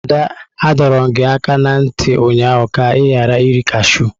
Ada, adọrum gi aka na nti ụnyahụ ka i ghara iri kashụ!